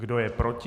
kdo je proti?